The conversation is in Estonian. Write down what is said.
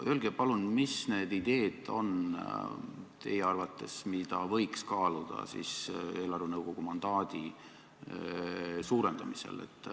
Öelge palun, mis need ideed on teie arvates, mida võiks kaaluda eelarvenõukogu mandaadi suurendamisel.